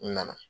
N nana